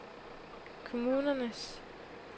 kommunernes